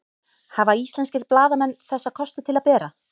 hafa íslenskir blaðamenn þessa kosti til að bera